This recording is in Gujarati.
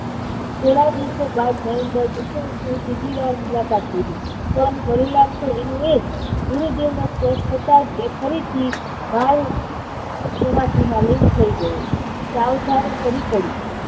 થોડા દિવસો બાદ નરેન્દ્રએ દક્ષિણેશ્વરની ત્રીજી વાર મુલાકાત લીધી. એનું એ જ, ગુરુજી નો સ્પર્શ થતા જ એ ફરીથી બાળસમાધિમાં લીન થઇ ગયો. સાવધાની સરી પડી.